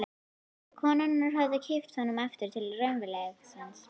Konurnar höfðu kippt honum aftur til raunveruleikans.